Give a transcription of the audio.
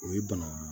O ye bana ye